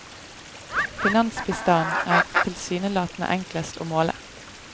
Finansbistanden er tilsynelatende enklest å måle.